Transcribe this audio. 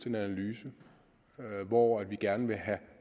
en analyse hvor vi gerne vil have